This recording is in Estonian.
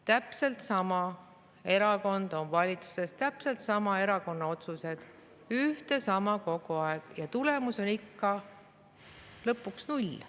Täpselt sama erakond on valitsuses, täpselt sama erakonna otsused, ühte ja sama tehakse kogu aeg ja tulemus on ikka lõpuks null.